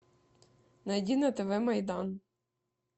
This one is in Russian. найди на тв майдан